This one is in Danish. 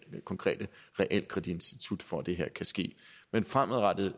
konkrete realkreditinstitut for at det her kan ske men fremadrettet